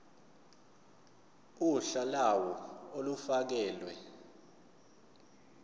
uhla lawo olufakelwe